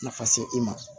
Nafa se i ma